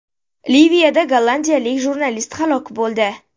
Liviyada gollandiyalik jurnalist halok bo‘ldi.